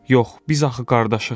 Yox, biz axı qardaşıq.